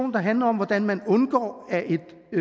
der handler om hvordan man undgår at